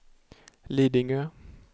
Lidingö